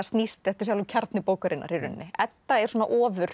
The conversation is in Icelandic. þetta er sjálfur kjarni bókarinnar í rauninni Edda er svona